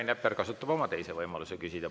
Ja Rain Epler kasutab oma teise võimaluse küsida.